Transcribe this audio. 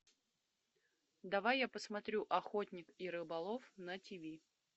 давай я посмотрю охотник и рыболов на ти ви